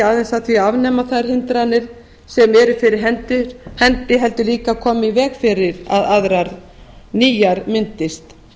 aðeins að því að afnema þær hindranir sem eru fyrir hendi heldur líka koma í veg fyrir að aðrar nýjar myndist